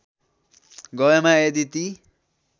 गएमा यदि ती